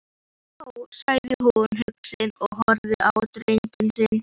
Ó, sagði hún hugsi og horfði á drenginn sinn.